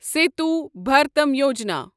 Setu Bharatam Yojana